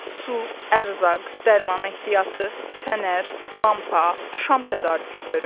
Su, ərzaq, dərman ehtiyatı, fənər, lampa, şam tədarükü görün.